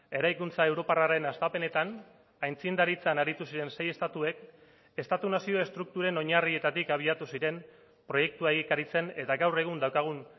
eraikuntza europarraren hastapenetan aitzindaritzan aritu ziren sei estatuek estatu nazio estrukturen oinarrietatik abiatu ziren proiektua egikaritzen eta gaur egun daukagun